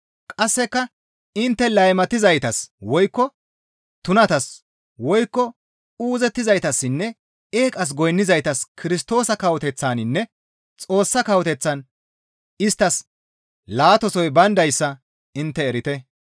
Qasseka intte laymatizaytas woykko tunatas woykko uuzettizaytassinne eeqas goynnizaytas Kirstoosa kawoteththaninne Xoossa Kawoteththan isttas laatasoy bayndayssa intte erite.